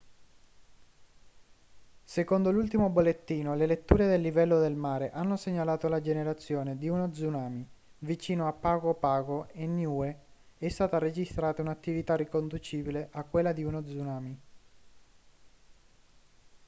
secondo l'ultimo bollettino le letture del livello del mare hanno segnalato la generazione di uno tsunami vicino a pago pago e niue è stata registrata un'attività riconducibile a quella di uno tsunami